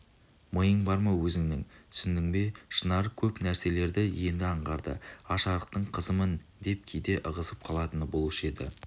миың бар ма өзіңнің түсіндің бе шынар көп нәрселерді енді аңғарды аш-арықтың қызымын деп кейде ығысып қалатыны болушы еді